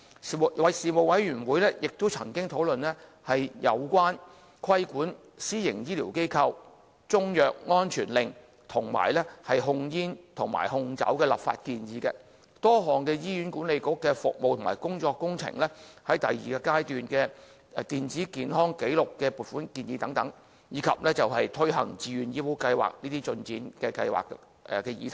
事務委員會亦曾經討論有關規管私營醫療機構、中藥安全令，以及控煙和控酒的立法建議；多項醫管局的服務及工務工程；第二階段電子健康紀錄計劃的撥款建議；及推行自願醫保計劃的進展等議題。